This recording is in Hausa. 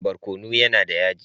Barkono yAna da yaji